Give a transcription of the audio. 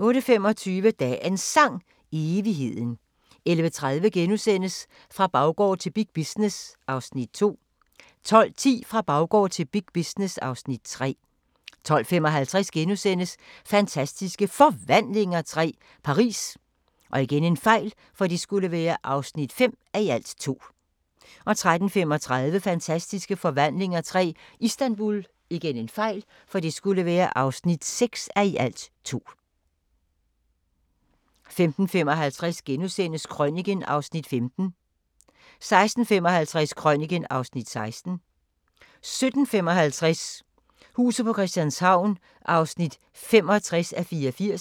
08:25: Dagens Sang: Evigheden 11:30: Fra baggård til big business (Afs. 2)* 12:10: Fra baggård til big business (Afs. 3) 12:55: Fantastiske Forvandlinger III – Paris (5:2)* 13:35: Fantastiske forvandlinger III – Istanbul (6:2) 15:55: Krøniken (Afs. 15)* 16:55: Krøniken (Afs. 16) 17:55: Huset på Christianshavn (65:84)